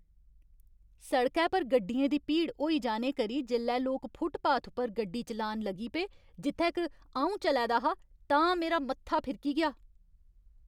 सड़कै पर गड्डियें दी भीड़ होई जाने करी जेल्लै लोक फुटपाथ उप्पर गड्डी चलान लगी पे जित्थै क अऊं चलै दा हा तां मेरा मत्था फिरकी गेआ।